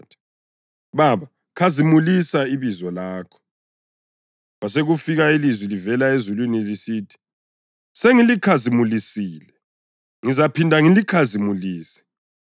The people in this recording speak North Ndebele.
Baba, khazimulisa ibizo lakho!” Kwasekufika ilizwi livela ezulwini lisithi, “Sengilikhazimulisile, ngizaphinda ngilikhazimulise.”